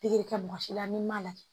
Pikiri kɛ mɔgɔ si la n'i m'a lajɛ